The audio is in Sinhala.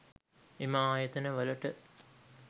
එම ආයතන වලට